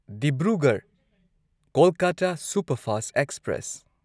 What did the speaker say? Dibrugarh Kolkata superfast express